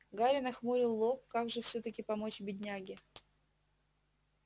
гарри нахмурил лоб как же всё-таки помочь бедняге